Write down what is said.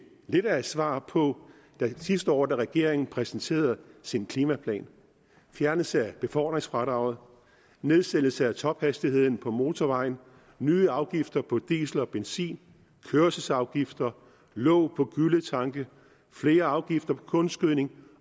lidt af et svar på sidste år da regeringen præsenterede sin klimaplan fjernelse af befordringsfradraget nedsættelse af tophastigheden på motorvejen nye afgifter på diesel og benzin kørselsafgifter låg på gylletanke flere afgifter på kunstgødning